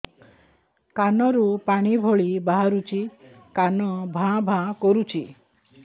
କାନ ରୁ ପାଣି ଭଳି ବାହାରୁଛି କାନ ଭାଁ ଭାଁ କରୁଛି